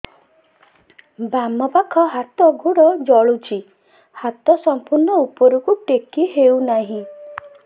ବାମପାଖ ହାତ ଗୋଡ଼ ଜଳୁଛି ହାତ ସଂପୂର୍ଣ୍ଣ ଉପରକୁ ଟେକି ହେଉନାହିଁ